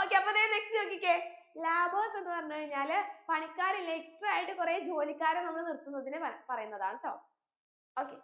okay അപ്പൊ ദേ next നോക്കിക്കേ labours എന്ന് പറഞ്ഞു കഴിഞ്ഞാല് പണിക്കാർ ഇല്ലേ extra ആയിട്ട് കൊറേ ജോലിക്കാരെ നമ്മൾ നിർത്തുന്നതിന് പറ പറയുന്നതാണട്ടോ okay